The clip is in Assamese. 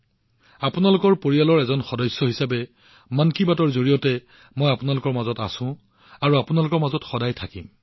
আপোনালোকৰ পৰিয়ালৰ এজন সদস্য হিচাপে মই মন কী বাতৰ সহায়ত আপোনালোকৰ মাজত আছো আপোনালোকৰ মাজত থাকিম